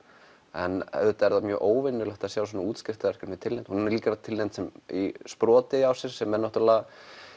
en auðvitað er það mjög óvenjulegt að sjá svona útskriftar verkefni tilnefnd og hún er líka tilnefnd sem sproti ársins sem er náttúrulega